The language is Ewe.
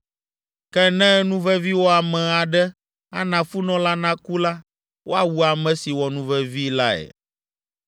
Ke ne nuveviwɔame aɖe ana funɔ la naku la, woawu ame si wɔ nuvevi lae.